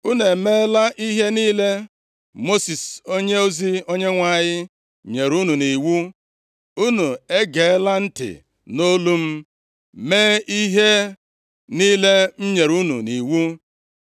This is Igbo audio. “Unu emeela ihe niile Mosis onyeozi Onyenwe anyị nyere unu nʼiwu. Unu egeela ntị nʼolu m, mee ihe niile m nyere unu nʼiwu.